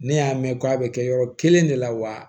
Ne y'a mɛn ko a bɛ kɛ yɔrɔ kelen de la wa